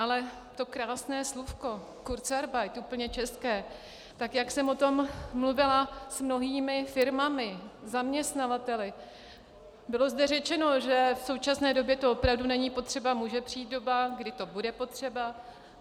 Ale to krásné slůvko kurzarbeit, úplně české, tak jak jsem o tom mluvila s mnohými firmami, zaměstnavateli - bylo zde řečeno, že v současné době to opravdu není potřeba, může přijít doba, kdy to bude potřeba.